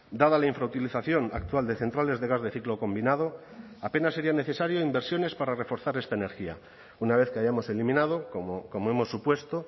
dada la infrautilización actual de centrales de gas de ciclo combinado apenas sería necesario inversiones para reforzar esta energía una vez que hayamos eliminado como hemos supuesto